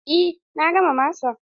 Eh, na gama masan.